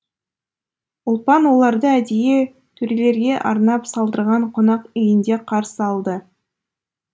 ұлпан оларды әдейі төрелерге арнап салдырған қонақ үйінде қарсы алды